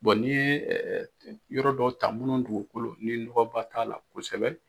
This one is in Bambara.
ni ye ɛɛ yɔrɔ dɔw ta munnu dugukolo ni nɔgɔba t'a la kosɛbɛ.